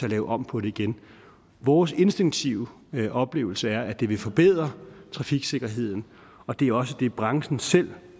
og lave om på den igen vores instinktive oplevelse er at det vil forbedre trafiksikkerheden og det er også det branchen selv